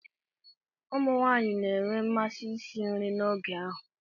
Ụmụ nwanyị na-enwe mmasị isi nri n'oge ahụ.